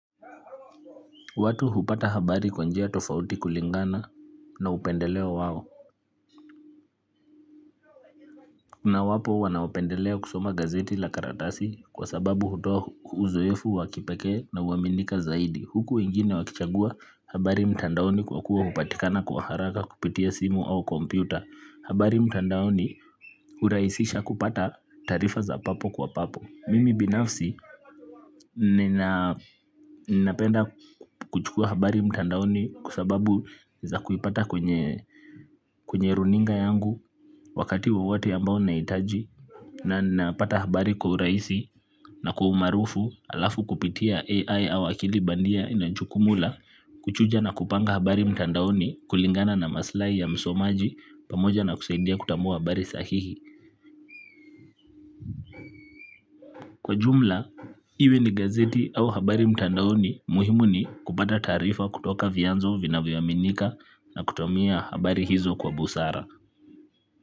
Watu hupata habari kwa njia tofauti kulingana na upendeleo wao. Na wapo wanaopendelea kusoma gazeti la karatasi kwa sababu hutoa uzoefu wa kipekee na huaminika zaidi. Huku wengine wakichagua habari mtandaoni kwa kuwa hupatikana kwa haraka kupitia simu au kompyuta. Habari mtandaoni hurahisisha kupata taarifa za papo kwa papo mimi binafsi ninapenda kuchukua habari mtandaoni kwa sababu za kuipata kwenye kwenye runinga yangu wakati wowote ambao nahitaji na napata habari kwa urahisi na kwa umaarufu halafu kupitia AI au akili bandia inajukumu la kuchuja na kupanga habari mtandaoni kulingana na maslahi ya msomaji pamoja na kusaidia kutambua habari sahihi kwa jumla, iwe ni gazeti au habari mtandaoni muhimu ni kupata taarifa kutoka vyanzo vinavyoaminika na kutumia habari hizo kwa busara.